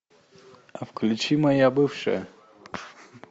включи моя бывшая